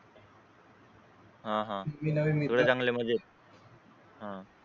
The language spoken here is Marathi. हा तुही चांगली मजेत